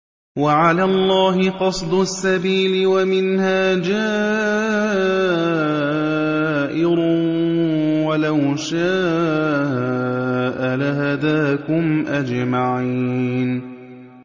وَعَلَى اللَّهِ قَصْدُ السَّبِيلِ وَمِنْهَا جَائِرٌ ۚ وَلَوْ شَاءَ لَهَدَاكُمْ أَجْمَعِينَ